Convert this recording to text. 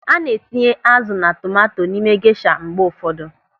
A na-etinye azụ na tomanto n'ime gesha mgbe ụfọdụ.